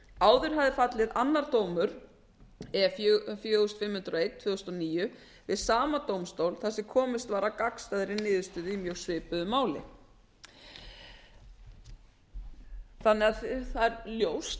áður hafði fallið annar dómur e fimm hundruð og eitt tvö þúsund og níu við sama dómstól þar sem komist var að gagnstæðri niðurstöðu í mjög svipuðu máli það er ljóst að þar sem þetta er